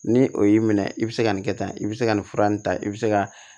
Ni o y'i minɛ i bɛ se ka nin kɛ tan i bɛ se ka nin fura nin ta i bɛ se ka